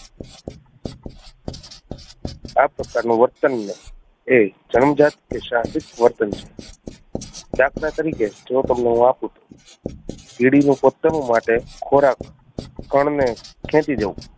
આ પ્રકાર વર્તન ને એ જનમ જાત કે સાહસિક વર્તન છે દાખલા તરીકે જો તમને હું આપું કીડી નું પોતાના માટે ખોરાક કણ ને ખેચી જવું.